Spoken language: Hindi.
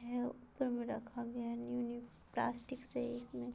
है ऊपर मे रखा गया है न्यू न्यू प्लास्टिक से इसमे --